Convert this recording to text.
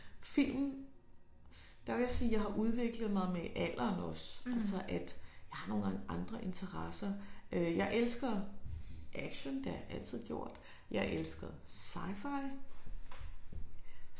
Film der vil jeg sige jeg har udviklet mig med alderen også. Altså at jeg har nogle gange andre interesser øh jeg elsker action det har jeg altid gjort jeg elsker scifi